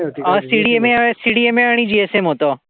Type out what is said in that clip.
अ CDMACDMA अ आणि GSM होतं.